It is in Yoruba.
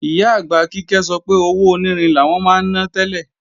Ìyá-àgbà Kíkẹ́ sọ pé owó onírin làwọn máa ná tẹ́lẹ̀